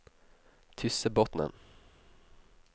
Tyssebotnen